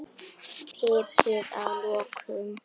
Piprið að lokum.